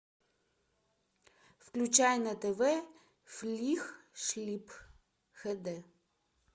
включай на тв флих шлип хд